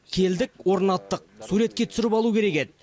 келдік орнаттық суретке түсіріп алу керек еді